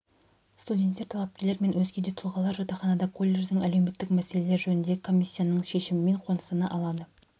студенттер талапкерлер мен өзге де тұлғалар жатақханаға колледждің әлеуметтік мәселелер жөніндегі комиссиясының шешімімен қоныстана алады